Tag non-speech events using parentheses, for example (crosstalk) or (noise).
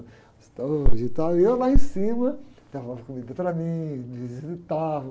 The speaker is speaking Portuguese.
(unintelligible) e tal. E eu lá em cima, levavam comida para mim, me visitavam.